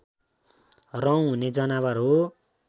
रौँ हुने जनावर हो